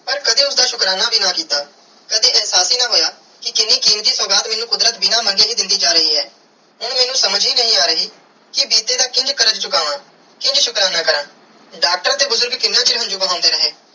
ਪਾਰ ਕਦੇ ਉਸਦਾ ਸ਼ੁਕਰਾਨਾ ਵੀ ਨਾ ਕਿੱਤਾ ਕਦੇ ਇਹਸਾਸ ਹੀ ਨਾ ਹੋਇਆ ਕੇ ਕੀਨੀ ਕੀਮਤੀ ਸੁਗਾਤ ਕੁਦਰਤ ਮੇਨੂ ਕੁਦਰਤ ਬਿਨਾ ਮੰਗੇ ਹੀ ਦੇਂਦੀ ਜਾ ਰਾਏ ਆ ਇਹ ਮੇਨੂ ਸਮਝ ਹੀ ਨਾਈ ਆਈ ਕੇ ਬੀਤੇ ਦਾ ਕਿੰਜ ਕਾਰਜ ਚੁਕਾਵੈ ਕਿੰਜ ਸ਼ੁਕਰਾਨਾ ਕਾਰਾ ਡਾਕਟਰ ਤੇ ਬੁਜ਼ਰਗ ਕਿੰਨਾ ਚਿਰ ਹੰਜੂ ਬਹੰਦੇ ਰਹੇ.